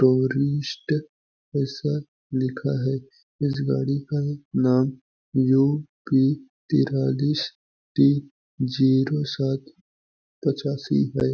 ऐसा लिखा है इस गाड़ी का नाम यू पी तेरालीस तीन जीरो सात पचासी हैं।